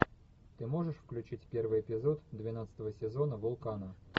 ты можешь включить первый эпизод двенадцатого сезона вулкана